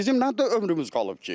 Bizim nə ömrümüz qalıb ki.